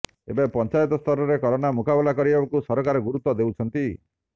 ଏବେ ପଞ୍ଚାୟତ ସ୍ତରରେ କରୋନା ମୁକାବିଲା କରିବାକୁ ସରକାର ଗୁରୁତ୍ୱ ଦେଉଛନ୍ତି